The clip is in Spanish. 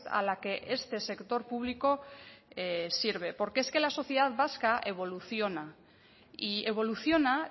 a la que este sector público sirve porque es que la sociedad vasca evoluciona y evoluciona